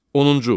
Onuncu.